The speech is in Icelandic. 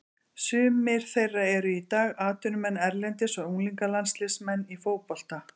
Sumir þeirra eru í dag atvinnumenn erlendis og unglingalandsliðsmenn í fótbolta.